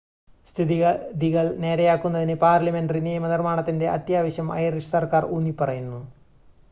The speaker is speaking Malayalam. സ്ഥിതിഗതികൾ നേരെയാക്കുന്നതിന് പാർലമെൻ്ററി നിയമ നിർമ്മാണത്തിൻ്റെ അത്യാവശ്യം ഐറിഷ് സർക്കാർ ഊന്നി പറയുന്നു